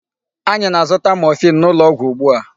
Anyị na-azụta morphine n'ụlọ ọgwụ ugbu a.